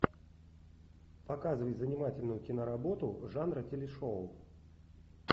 показывай занимательную киноработу жанра телешоу